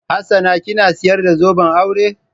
Hassana kina sayar da zoben aure?